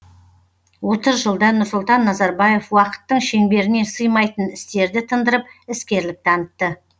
отыз жылда нұрсұлтан назарбаев уақыттың шеңберіне сыймайтын істерді тындырып іскерлік танытты